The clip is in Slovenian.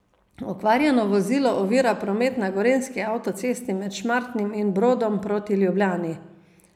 Okvarjeno vozilo ovira promet na gorenjski avtocesti med Šmartnim in Brodom Proti Ljubljani.